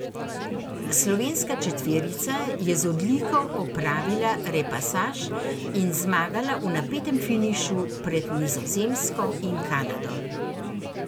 Slovenska četverica je z odliko opravila repasaž in zmagala v napetem finišu pred Nizozemsko in Kanado.